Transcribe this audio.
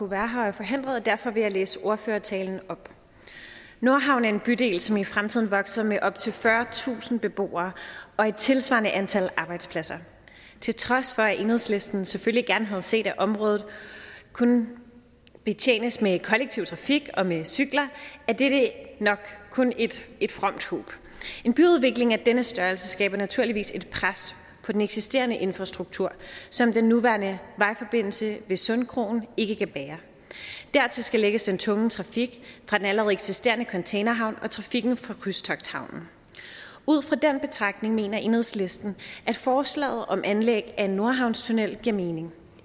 være her er forhindret og derfor vil jeg læse ordførertalen op nordhavn er en bydel som i fremtiden vokser med op til fyrretusind beboere og et tilsvarende antal arbejdspladser til trods for at enhedslisten selvfølgelig gerne havde set at området kunne betjenes med kollektiv trafik og med cykler er dette nok kun et et fromt håb en byudvikling af denne størrelse skaber naturligvis et pres på den eksisterende infrastruktur som den nuværende vejforbindelse ved sundkrogen ikke kan bære dertil skal lægges den tunge trafik fra den allerede eksisterende containerhavn og trafikken fra krydstogthavnen ud fra den betragtning mener enhedslisten at forslaget om anlæg af en nordhavnstunnel giver mening